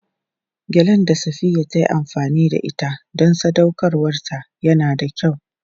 Gelen da Safiya ta yi amfani da ita don sadaukarwarta yana da kyau.